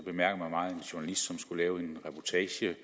journalist som skulle lave en reportage